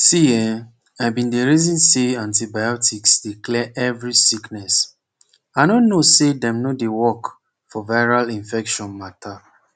see eeh i bin dey reason say antibiotics dey clear every sickness i no no say dem no dey work for viral infection mata